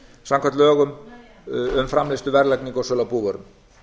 samkvæmt lögum um framleiðslu verðlagningu og sölu á búvörum